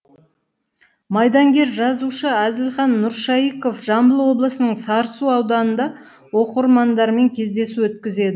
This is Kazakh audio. майдангер жазушы әзілхан нұршайықов жамбыл облысының сарысу ауданында оқырмандармен кездесу өткізеді